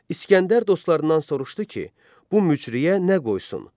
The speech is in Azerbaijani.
İsgəndər dostlarından soruşdu ki, bu mücrüyə nə qoysun?